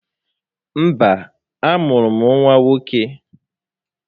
Mba, a mụrụ m nwa nwoke